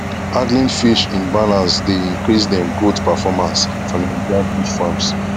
handling fish in balance dey increase dem growth performance for nigerian fish farms